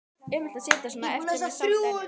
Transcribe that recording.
Ömurlegt að sitja svona eftir með sárt ennið.